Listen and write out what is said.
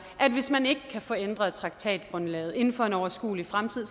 at hvis man ikke kan få ændret traktatgrundlaget inden for en overskuelig fremtid